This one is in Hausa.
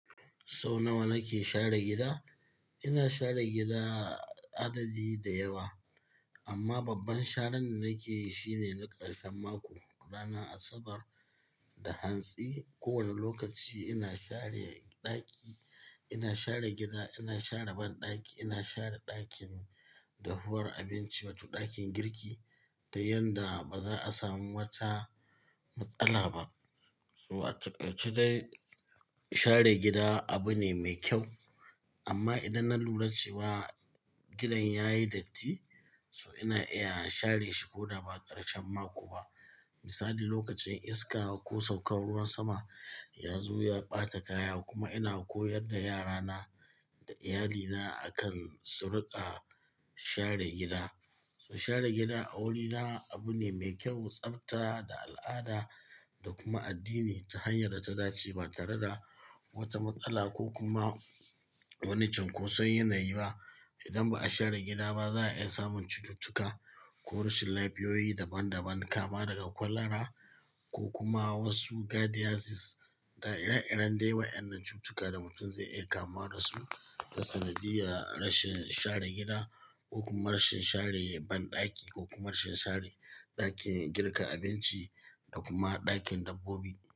Sau nawa nake share gida? Ina share gida adadi da yawa, amma babban sharan da nake yi shine na ƙarshen mako, ranar Asabar da hantsi. Kowane lokaci ina share ɗaki, ina share gida, ina share banɗaki, ina share ɗakin dahuwar abinci wato ɗakin girki da yadda ba za a samu wata matsala ba. So a takaice dai share gida abu ne mai kyau. Amma idan na lura cewa gidan ya yi datti, so ina iya share shi ko da ba ƙarshen mako ba. Misali lokacin iska ko saukan ruwan sama ya zo ya ɓata kaya kuma ina koyar da yara na da iyalina akan su riƙa share gida. Su share gida a wurina abu ne mai kyau, tsafta da al'ada da kuma addini ta hanyar ta dace ba tare da wata matsala ko kuma wani cunkoson yanayi ba. Idan ba a share gida ba, za a iya samun cututtuka ko rashin lafiyoyi daban-daban kama daga kwallara ko kuma wasu gardiazis da ire-iren da wa'yan nan cututtuka da mutum zai iya kama da su. Ta sanadiya rashin share gida ko kuma rashin share banɗaki ko kuma rashin share ɗakin girka abinci da kuma ɗakin dabbobi.